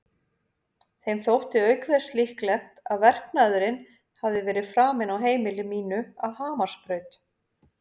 Þeim þótti auk þess líklegt að verknaðurinn hefði verið framinn á heimili mínu að Hamarsbraut.